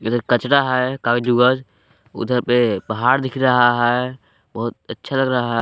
इधर कचरा है कागज उगज उधर पे पहाड़ दिख रहा है बहुत अच्छा लग रहा--